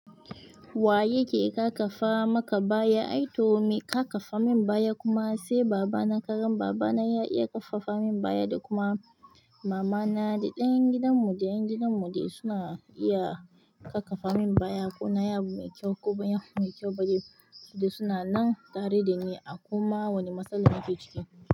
Waye ke kakafa maka baya? Ai to mi ƙaƙafa min baya kuma sai baba na. Kagan baba na ya iya kafafa min baya da kuma mama na da ƴan gidan mu da ƴan gidan mu dai suna iya kafafa min baya ko na ya bu mai kyau ko banyi abu mai kyau ba dai. Su dai suna nan tare dani a kuma wani matsalar nake ciki.